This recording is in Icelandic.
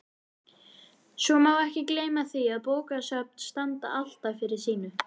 Svo má ekki gleyma því að bókasöfn standa alltaf fyrir sínu.